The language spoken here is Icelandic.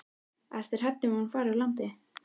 Ertu hrædd um að hún fari úr landi?